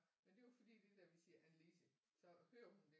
Men det er jo fordi det der når vi siger Annelise så hører hun det